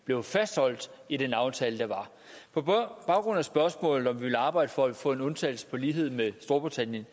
blev fastholdt i den aftale der var på baggrund af spørgsmålet altså om vi vil arbejde for at få en undtagelse i lighed med storbritannien